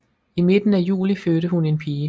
I midten af juli fødte hun en pige